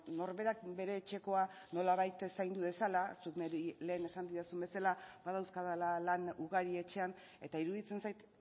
norberak bere etxekoa nolabait zaindu dezala zuk niri lehen esan didazun bezala badauzkadala lan ugari etxean eta iruditzen zait